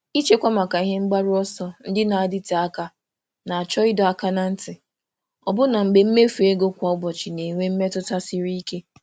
Ịchekwa maka ebumnuche ogologo oge chọrọ ịdọ aka ná ntị, ọbụlagodi mgbe mmefu kwa ụbọchị na-adị ka ihe karịrị ike.